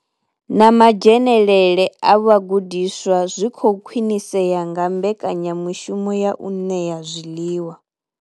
Na madzhenele a vhagudiswa zwi khou khwinisea nga mbekanya mushumo ya u ṋea zwiḽiwa.